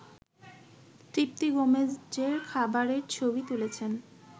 তৃপ্তি গোমেজের খাবারের ছবি তুলেছেন